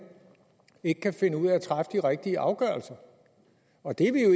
ikke kan finde ud af at træffe de rigtige afgørelser og det er vi